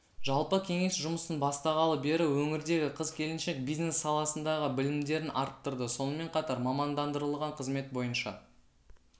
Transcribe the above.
жалпы кеңес жұмысын бастағалы бері өңірдегі қыз-келіншек бизнес саласындағы білімдерін арттырды сонымен қатар мамандандырылған қызмет бойынша